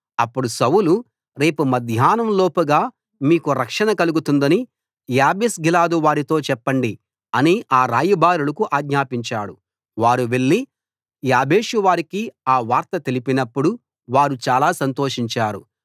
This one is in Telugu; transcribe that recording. అప్పుడు సౌలు రేపు మధ్యాహ్నం లోపుగా మీకు రక్షణ కలుగుతుందని యాబేష్గిలాదు వారితో చెప్పండి అని ఆ రాయబారులకు ఆజ్ఞాపించాడు వారు వెళ్ళి యాబేషువారికి ఆ వార్త తెలిపినప్పుడు వారు చాలా సంతోషించారు